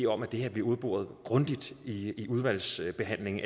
om at det her bliver udboret grundigt i i udvalgsbehandlingen